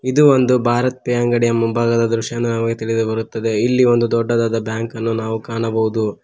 ಇದು ಒಂದು ಭಾರತೀಯ ಅಂಗಡಿಯ ಮುಂಭಾಗದ ದೃಶ್ಯಾನ ತಿಳಿದುಬರುತ್ತದೆ ಇಲ್ಲಿ ಒಂದು ದೊಡ್ಡದಾದ ಬ್ಯಾಂಕನ್ನು ನಾವು ಕಾಣಬಹುದು.